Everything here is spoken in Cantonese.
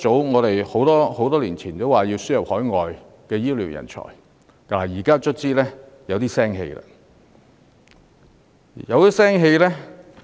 我們很多年前已經提出，要輸入海外醫療人才，現在終於有點眉目。